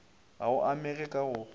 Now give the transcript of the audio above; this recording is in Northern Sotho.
ga o amege ka go